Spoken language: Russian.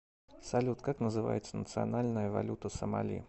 салют как называется национальная валюта сомали